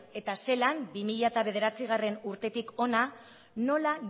eta zelan bi mila bederatzigarrena urtetik hona nola